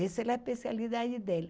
Essa é a especialidade dele.